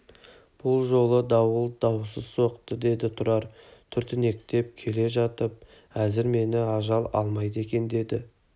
бұл жолғы дауыл дауасыз соқты деді тұрар түртінектеп келе жатып әзір мені ажал алмайды екен деді